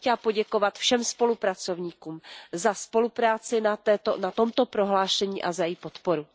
Já bych chtěla poděkovat všem spolupracovníkům za spolupráci na tomto prohlášení a za jeho podporu.